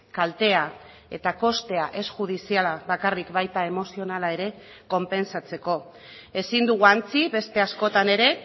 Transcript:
kaltea eta kostea ez judiziala bakarrik baita emozionala ere konpentsatzeko ezin dugu ahantzi beste askotan ere